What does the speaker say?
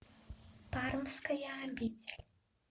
пармская обитель